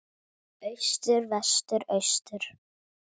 Austur Vestur Austur